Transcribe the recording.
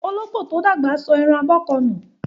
Olópò tí ó dàgbà sọ ẹran abọ́ kan ùn